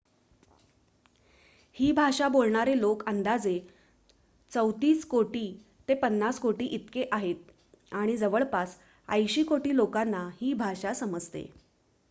ही भाषा बोलणारे लोक अंदाजे ३४ कोटी ते ५० कोटी इतके आहेत आणि जवळपास ८० कोटी लोकांना ही भाषा समजते